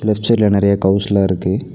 Left சைட்ல நெறைய கவுஸ்லா இருக்கு.